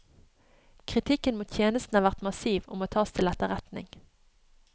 Kritikken mot tjenesten har vært massiv og må tas til etterretning.